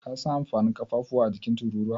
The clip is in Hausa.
Ka san amfanin ƙafafuwa a jikin Tururuwa?